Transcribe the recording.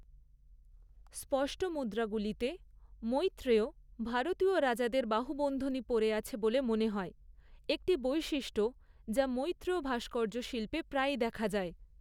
স্পষ্ট মুদ্রাগুলিতে, মৈত্রেয় ভারতীয় রাজাদের বাহুবন্ধনী পরে আছে বলে মনে হয়, একটি বৈশিষ্ট্য যা মৈত্রেয় ভাস্কর্য শিল্পে প্রায়ই দেখা যায়।